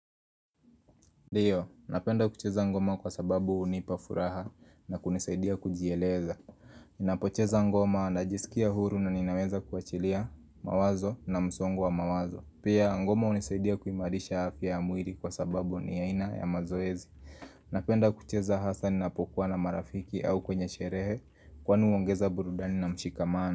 Ndio, napenda kucheza ngoma kwa sababu hunipa furaha na kunisaidia kujieleza Ninapocheza ngoma na jisikia huru na ninaweza kuachilia mawazo na msongo mawazo Pia, ngoma unisaidia kuimarisha afya ya mwiri kwa sababu ni aina ya mazoezi Napenda kucheza hasaa ninapokuwa na marafiki au kwenye sherehe kwani huongeza burudani na mshikamana.